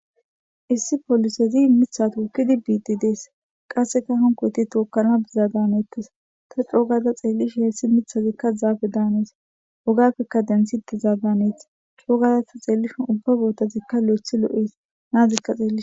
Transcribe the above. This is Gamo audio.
Issi polisezikka miththa tokkidi bidi deesi qasekka hanikoyiti tokkana bizada hanetteesi ta coo gada xeliishdhinkka hesi miththazikka zappeda hanees ogappeka denthetizada haneesi coo gada ta xeliishdhinkka ubazikka tawu loeththi loeesi nazikka xeliishin